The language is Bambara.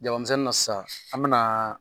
Jaba misɛnnin na sisan an bɛ na